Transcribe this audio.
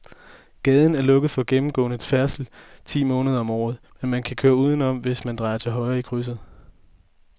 Gaden er lukket for gennemgående færdsel ti måneder om året, men man kan køre udenom, hvis man drejer til højre i krydset.